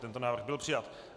Tento návrh byl přijat.